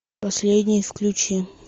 последний включи